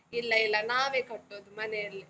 ಇಲ್ಲ ಇಲ್ಲ, ನಾವೇ ಕಟ್ಟೋದು, ಮನೆಯಲ್ಲಿ.